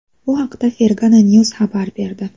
Bu haqda Fergana News xabar berdi .